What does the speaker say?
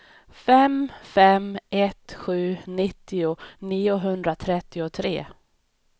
fem fem ett sju nittio niohundratrettiotre